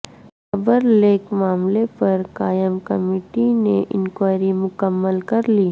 خبر لیک معاملے پر قائم کمیٹی نے انکوائری مکمل کر لی